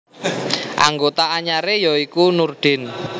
Anggota anyaré ya iku Nurdin